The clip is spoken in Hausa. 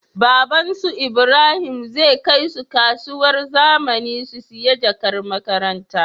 Baban su ibrahim zai kai su kasuwar zamani su siya jakar makaranta